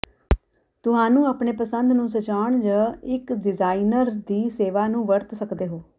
ਤੁਹਾਨੂੰ ਆਪਣੇ ਪਸੰਦ ਨੂੰ ਸਜਾਉਣ ਜ ਇੱਕ ਡਿਜ਼ਾਇਨਰ ਦੀ ਸੇਵਾ ਨੂੰ ਵਰਤ ਸਕਦੇ ਹੋ